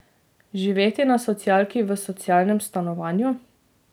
Živeti na socialki v socialnem stanovanju?